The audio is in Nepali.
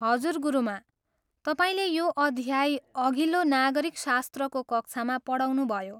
हजुर, गुरुमा। तपाईँले यो अध्याय अघिल्लो नागरिकशास्त्रको कक्षामा पढाउनुभयो।